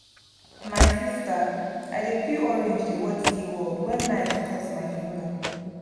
my sister i dey peel orange dey watch zeaworld wen knife cut my finger